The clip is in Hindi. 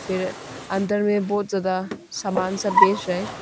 अंदर में बहुत ज्यादा सामान सब बेच रहे हैं।